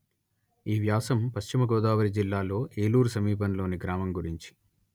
ఈ వ్యాసం పశ్చిమ గోదావరి జిల్లాలో ఏలూరు సమీపంలోని గ్రామం గురించి